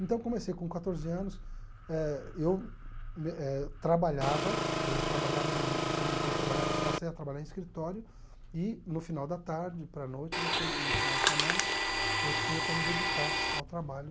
Então comecei com quatorze anos eh, eu me eh trabalhava, eu trabalhava em administração de empresas, passei a trabalhar em escritório, e no final da tarde, para noite nos fi e final de semana, eu tinha para me dedicar ao trabalho